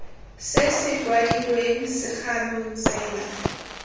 se se kwadilweng segalo tsela